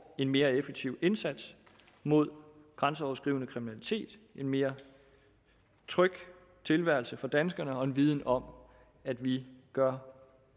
en mere effektiv indsats mod grænseoverskridende kriminalitet en mere tryg tilværelse for danskerne og en viden om at vi gør